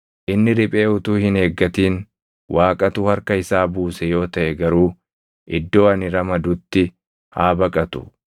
Inni riphee utuu hin eeggatin Waaqatu harka isaa buuse yoo taʼe garuu iddoo ani ramadutti haa baqatu.